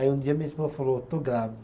Aí um dia a minha esposa falou, estou grávida.